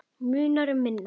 Munar um minna.